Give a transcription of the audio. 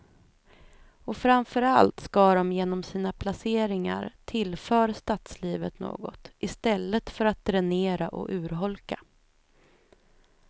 Och framför allt ska de genom sina placeringar tillför stadslivet något, i stället för att dränera och urholka.